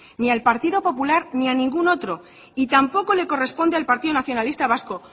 ni al partido popular ni a ningún otro y tampoco le corresponde al partido nacionalista vasco